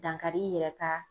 Dankari i yɛrɛ ka